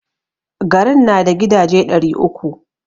Garin na da gidaje ɗari uku.